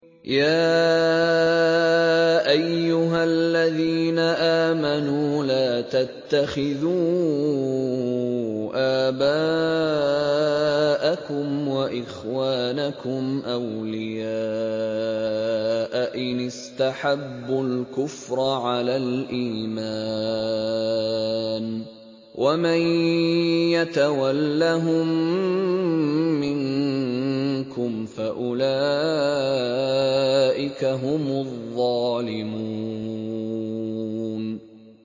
يَا أَيُّهَا الَّذِينَ آمَنُوا لَا تَتَّخِذُوا آبَاءَكُمْ وَإِخْوَانَكُمْ أَوْلِيَاءَ إِنِ اسْتَحَبُّوا الْكُفْرَ عَلَى الْإِيمَانِ ۚ وَمَن يَتَوَلَّهُم مِّنكُمْ فَأُولَٰئِكَ هُمُ الظَّالِمُونَ